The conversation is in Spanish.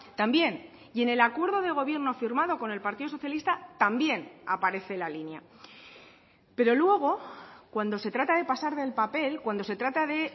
también y en el acuerdo de gobierno firmado con el partido socialista también aparece la línea pero luego cuando se trata de pasar del papel cuando se trata de